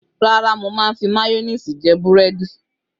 Rárá, mo máa ń fi máyónísì jẹ búrẹ́dì.